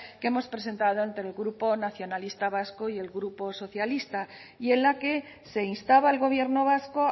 que hemos presentado entre el grupo nacionalistas vascos y el grupo socialista y en la que se instaba al gobierno vasco